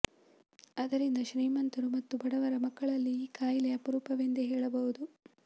ಅದರಿಂದ ಶ್ರೀಮಂತರು ಮತ್ತು ಬಡವರ ಮಕ್ಕಳಲ್ಲಿ ಈ ಕಾಯಿಲೆ ಅಪರೂಪವೆಂದೇ ಹೇಳಬಹುದು